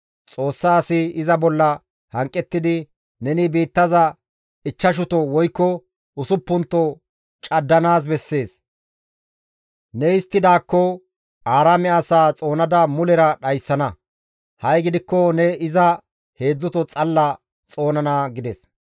Xoossa asi iza bolla hanqettidi, «Neni biittaza ichchashuto woykko usuppunto caddanaas bessees; ne histtidaakko Aaraame asaa xoonada mulera dhayssana; ha7i gidikko ne iza heedzdzuto xalla xoonana» gides.